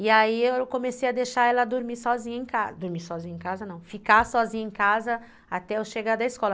E aí eu comecei a deixar ela dormir sozinha em casa, dormir sozinha em casa não, ficar sozinha em casa até eu chegar da escola.